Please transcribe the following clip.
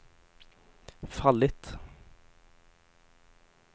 fallit